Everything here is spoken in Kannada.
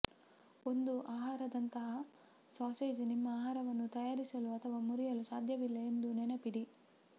ಒಂದು ಆಹಾರದಂತಹ ಸಾಸೇಜ್ ನಿಮ್ಮ ಆಹಾರವನ್ನು ತಯಾರಿಸಲು ಅಥವಾ ಮುರಿಯಲು ಸಾಧ್ಯವಿಲ್ಲ ಎಂದು ನೆನಪಿಡಿ